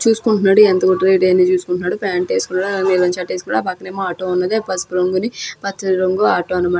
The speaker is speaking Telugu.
చూసుకుంటున్నాడు ఎంత పోటరేట్ అయిందో చూసుకుంటున్నాడు. పాంట్ వేసుకున్నాడా నీలం షర్ట్ వేసుకున్నాడు. ఆ పక్కన ఎమో ఆటో ఉన్నది పసుపు రంగుది పచ్చ రంగు ఆటో అనమాట.